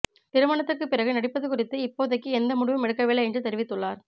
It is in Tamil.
திருமணத்துக்குப் பிறகு நடிப்பது குறித்து இப்போதைக்கு எந்த முடிவும் எடுக்கவில்லை என்று தெரிவித்துள்ளார்